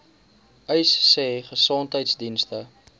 uys sê gesondheidsdienste